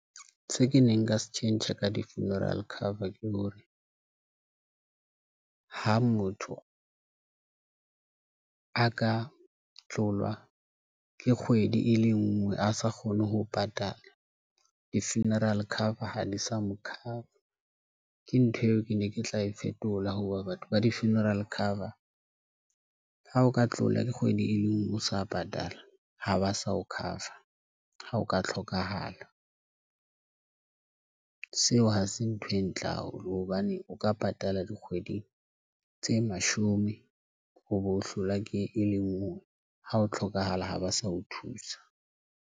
Se ke neng ka se tjhentjha ka di funeral cover ke hore ha motho a ka tlola ke kgwedi e le ngwe a sa kgone ho patala di funeral cover ha di sa mo cover, ke ntho eo ke ne ke tla e fetola hoba batho ba di funeral cover. Ha o ka tlola ke kgwedi e le ngwe, o sa patala ha ba sa ho cover ha o ka hlokahala. Seo ha se ntho e ntle haholo hobane o ka patala dikgweding tse mashome, o bo hlolwa ke e le ngwe ha ho tlhokahala ha ba sa o thusa.